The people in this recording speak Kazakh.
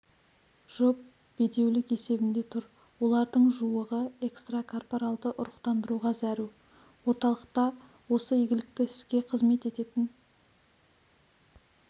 жұп бедеулік есебінде тұр олардың жуығы экстрокорпоралды ұрықтандыруға зәру орталықта осы игілікті іске қызмет ететін